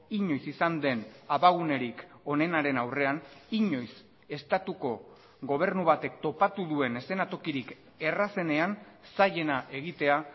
inoiz izan den abagunerik onenaren aurrean inoiz estatuko gobernu batek topatu duen eszenatokirik errazenean zailena egitea